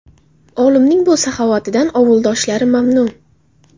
Olimning bu saxovatidan ovuldoshlari mamnun.